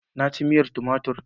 Na ci miyar tumatir.